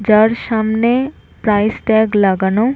যার সামনে price tag লাগানো--